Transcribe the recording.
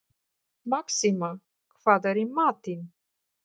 Maxima, hvað er í matinn?